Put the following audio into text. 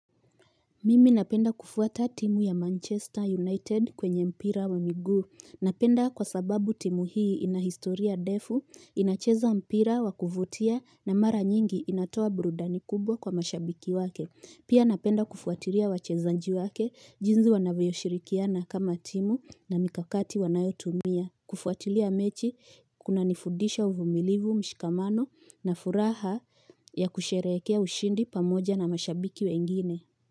Mimi napenda kufuata timu ya Manchester United kwenye mpira wa miguu, napenda kwa sababu timu hii ina historia defu, inacheza mpira wa kuvutia na mara nyingi inatoa burudani kubwa kwa mashabiki wake, pia napenda kufuatilia wachezaji wake, jinzi wanavyoshirikiana kama timu na mikakati wanayotumia, kufuatilia mechi kunanifudisha uvumilivu mshikamano na furaha ya kusherehekea ushindi pamoja na mashabiki wengineni.